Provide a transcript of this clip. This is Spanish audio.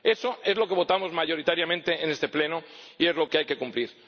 Eso es lo que votamos mayoritariamente en este Pleno y es lo que hay que cumplir.